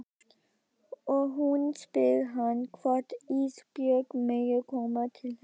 Og hún spyr hann hvort Ísbjörg megi koma til hennar.